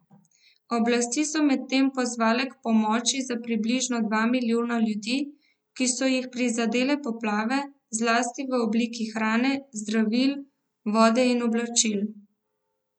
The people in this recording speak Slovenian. Oblasti so medtem pozvale k pomoči za približno dva milijona ljudi, ki so jih prizadele poplave, zlasti v obliki hrane, zdravil, vode in oblačil.